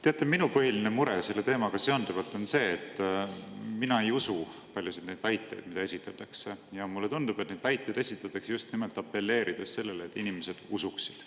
Teate, minu põhiline mure selle teemaga seonduvalt on see, et mina ei usu paljusid neid väiteid, mida esitatakse, ja mulle tundub, et neid väiteid esitatakse just nimelt apelleerides sellele, et inimesed neid usuksid.